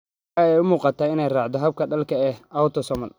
Waxa ay u muuqataa in ay raacdo habka dhaxalka ee autosomal.